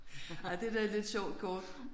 Ej det er da et lidt sjovt kort